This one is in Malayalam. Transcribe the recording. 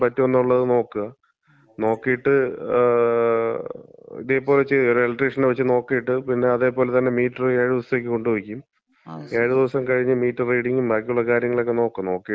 ഫിറ്റ് ചെയ്യാൻ പറ്റോന്നുള്ളത് നോക്ക്, നോക്കീട്ട്, ങാ ഇതേപോലെ ചെയ്യ്, കാരണം എലക്ട്രീഷനെ വച്ച് നോക്കീട്ട് പിന്നെ അതേ പോലെ തന്നെ മീറ്ററ് ഏഴ്ദിവസത്തേക്ക് കൊണ്ട് വെക്കും. ഏഴ് ദിവസം കഴിഞ്ഞ് മീറ്റർ റീഡിങ്ങും ബാക്കിയുള്ള കാര്യങ്ങളുക്കെ നോക്ക്, നോക്കീട്ട് വല്യ വ്യത്യാസമുണ്ടോന്ന് നോക്കാം.